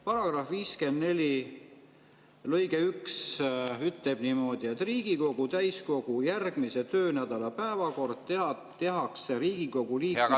Paragrahvi 54 lõige 1 ütleb niimoodi, et Riigikogu täiskogu järgmise töönädala päevakord tehakse Riigikogu liikmetele teatavaks …